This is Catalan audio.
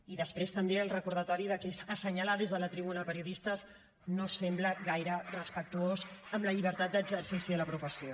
i després també el recordatori que és assenyalar des de la tribuna periodistes no sembla gaire respectuós amb la llibertat d’exercici de la professió